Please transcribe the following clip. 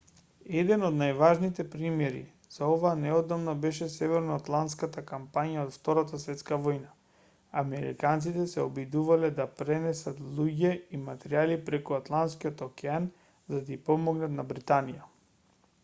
еден од најважните примери за ова неодамна беше северно-атлантската кампања од втората светска војна. американците се обидувале да пренесат луѓе и материјали преку атланскиот океан за да ѝ помогнат на британија